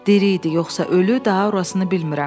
Diri idi, yoxsa ölü, daha orasın bilmirəm.